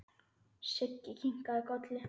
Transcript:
Siggi kinkaði kolli.